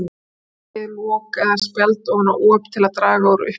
Leggið lok eða spjald ofan á op til að draga úr uppgufun.